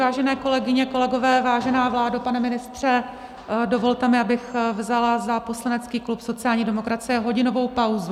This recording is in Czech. Vážené kolegyně, kolegové, vážená vládo, pane ministře, dovolte mi, abych vzala za poslanecký klub sociální demokracie hodinovou pauzu.